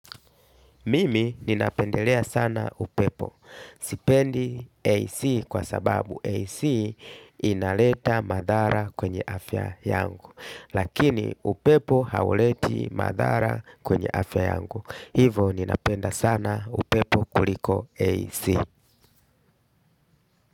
Mimi ninapendelea sana upepo. Sipendi AC kwa sababu AC inaleta madhara kwenye afya yangu. Lakini upepo hauleti madhara kwenye afya yangu. Hivo ninapenda sana upepo kuliko AC.